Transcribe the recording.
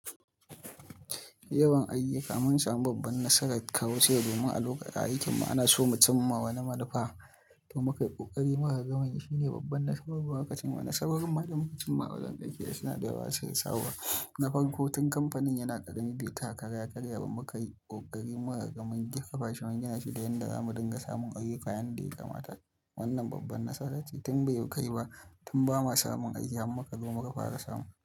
Yawan ayuyuka, mun samu babban nasara kawu ce domin a lokacin aiki mana so mutum ma wani manufa to muka yi ƙoƙari murhun gamani shine babban nasu babban lokacin mana saboda kuma da mutum ma wanzan ɗakiya suna da yawa sai ya sawa. Na farko tun kamfanin yana ƙaramin bai taka kara ya karya ba muka yi ƙoƙari muka gan mun kafa shugaban yana shi da yanda zamu dinga samun ayyuka yanda ya kamata. Wannan babban nasara ce tun bai yi ƙari ba tun ba ma samun ayyuka muka lura muka fara samu.